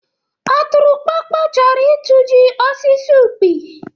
ọtụrụkpọkpọ chọrọ ịtụji osis ukpi.